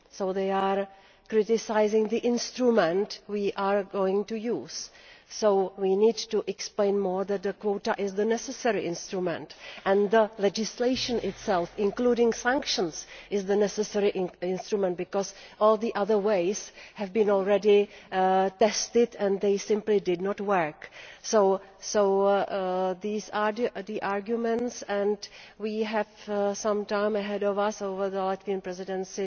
They are criticising the instrument we are going to use. We need to explain better that the quota is the necessary instrument and that the legislation itself including sanctions is the necessary instrument, because all the other ways have already been tested and they simply did not work. These are the arguments, and we have some time ahead of us during the Latvian Presidency